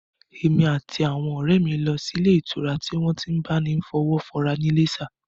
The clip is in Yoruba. Èmi àti àwọn ọ̀rẹ́ mi lọ sí ilé ìtura tí wọ́n ti n máa bá ni fọwọ́wọ́ra ní Iléṣà